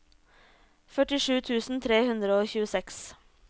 førtisju tusen tre hundre og tjueseks